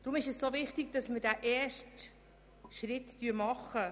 Deshalb ist es wichtig, dass wir den ersten Schritt machen.